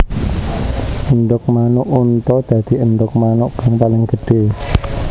Endhog manuk unta dadi endhog manuk kang paling gedhé